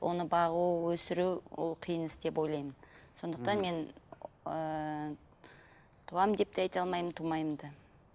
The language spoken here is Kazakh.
оны бағу өсіру ол қиын іс деп ойлаймын сондықтан мен ыыы туамын деп те айта алмаймын тумаймын да